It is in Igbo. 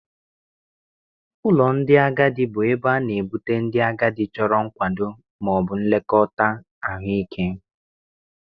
Ụlọ ndị agadi bụ ebe a na-ebute ndị agadi chọrọ nkwado ma ọ bụ nlekọta ahụike.